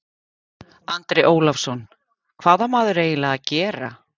Andri Ólafsson: Hvað á maður eiginlega að gera?